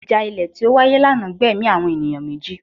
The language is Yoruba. Ìjà ilẹ̀ tí ó wáyé lánàá gbẹ̀mí àwọn ènìyàn méjì